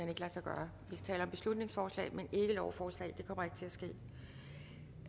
hen ikke lade sig gøre vi taler om beslutningsforslag men ikke lovforslag det kommer ikke til at ske